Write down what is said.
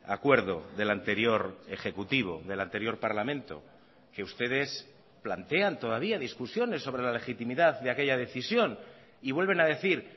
acuerdo del anterior ejecutivo del anterior parlamento que ustedes plantean todavía discusiones sobre la legitimidad de aquella decisión y vuelven a decir